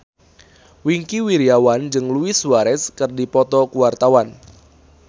Wingky Wiryawan jeung Luis Suarez keur dipoto ku wartawan